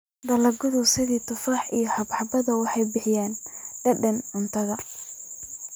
Dalagyada sida tufaaxa iyo xabxabada waxay bixiyaan dhadhan cuntada.